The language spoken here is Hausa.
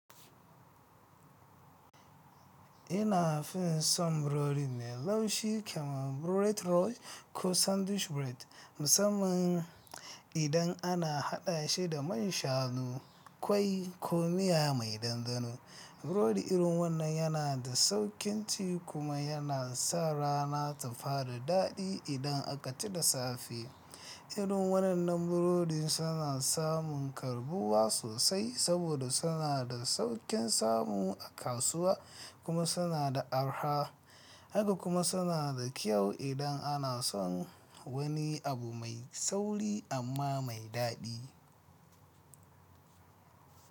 Ina fin son burodi mai laushi kamar bread roll ko sandwich bread musamman idan ana haɗa shi da man shanu, ƙwai ko miya mai ɗanɗano. Burodi irin wannan yana da sauƙin ci kuma yana sa rana ta fara daɗi idan aka ci da safe. Irin wannan burodin suna samun karbuwa sosai saboda suna da sauƙin samu a kasuwa kuma suna da araha. Haka kuma suna da kyau idan ana son wani abu mai sauri amma mai daɗi.